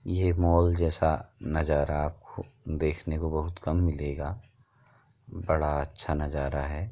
यह मॉल जैसा नजारा आपको देखने को बहुत कम मिलेगा बड़ा अच्छा नजारा है।